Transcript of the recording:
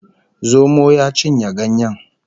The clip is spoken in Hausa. Zomo ya cinye ganyen